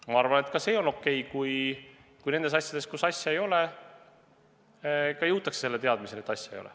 Ma arvan, et ka see on okei, kui nendes asjades, kus rikkumist ei ole, jõutakse teadmiseni, et rikkumist ei ole.